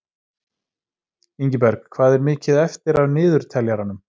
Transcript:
Ingiberg, hvað er mikið eftir af niðurteljaranum?